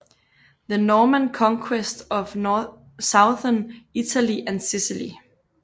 The Norman Conquest of Southern Italy and Sicily